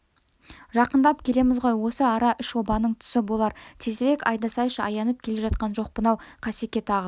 жақындап келеміз ғой осы ара үшобаның тұсы болар тезірек айдасайшы аянып келе жатқан жоқпын-ау қасеке тағы